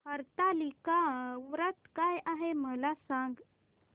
हरतालिका व्रत काय आहे मला सांग